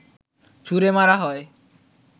ছুঁড়ে মারা হয়